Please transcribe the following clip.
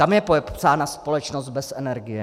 Tam je popsána společnost bez energie.